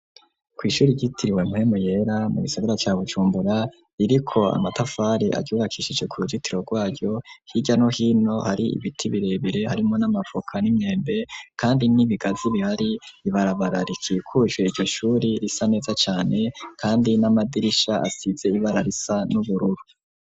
Kw'ishuri ryitiriwe Mpwemu Yera mu gisagara ca Bujumbura iriko amatafari aryubakishije ku ruzitiro rwaryo, hirya no hino hari ibiti birebire harimwo n'amavoka n'imyembe kandi n'ibigazi bihari ibarabara rikikuje iryo shuri risa neza cane kandi n'amadirisha asize ibara risa n'ubururu.